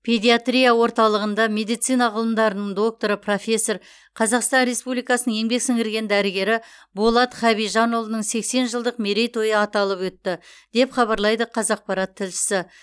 педиатрия орталығында медицина ғылымдарының докторы профессор қазақстан республикасының еңбек сіңірген дәрігері болат хабижанұлының сексен жылдық мерейтойы аталып өтті деп хабарлайды қазақпарат тілшісі